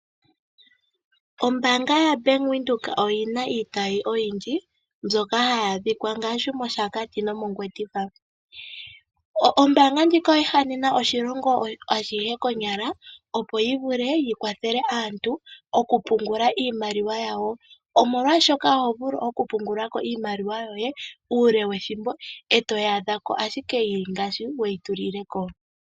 Ombaanga yaVenduka oyi na iitayi oyindji mbyoka hayi adhika ngaashi mOshakati nOngwediva. Oyi li oshilongo ashihe konyala opo yi vule oku kwathele aantu ya pungule iimaliwa yawo. Omuntu oto vulu oku pungulako iimaliwa yoye uule wethimbo etoyi adhako ashike ngaashi weyi tulileko.